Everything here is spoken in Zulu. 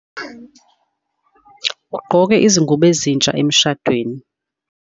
ugqoke izingubo ezintsha emshadweni